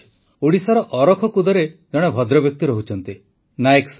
ଓଡ଼ିଶାର ଅରାଖୁଡ଼ାରେ ଜଣେ ଭଦ୍ରବ୍ୟକ୍ତି ରହୁଛନ୍ତି ନାଏକ ସାର୍